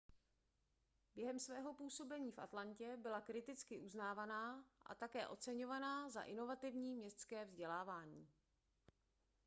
během svého působení v atlantě byla kriticky uznávaná a také oceňovaná za inovativní městské vzdělávání